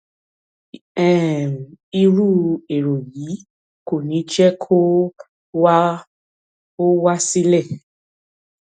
um irú èrò yìí kò ní jẹ kó o wá o wá sílẹ